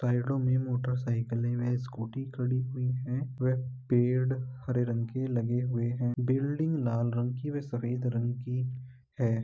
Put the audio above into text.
में मोटर साइकिलें व स्कूटी खड़ी हुई है व पेड़ हरे रंग के लगे हुए हैं बिल्डिंग लाल रंग की व सफ़ेद रंग की है।